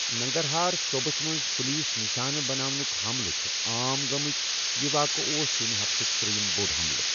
ننگرہار صوبس منٛز پُلیسس نشانہٕ بناونٕک حملہٕ چھِ عام گٔمٕتھ، یہٕ واقعہٕ اوس یٔمہِ ہفتُک تریم بوٚڑ حملہٕ۔